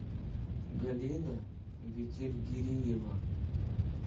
галина бетельгериева